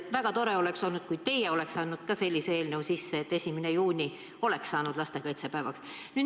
Väga tore oleks olnud, kui teie oleks andnud ka sellise eelnõu sisse, et 1. juuni oleks saanud lipupäevaks.